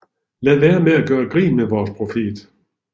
Lad være med at gøre grin med vores profet